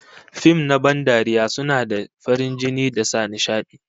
Fim na ban dariya suna da farin jini da sa nishadi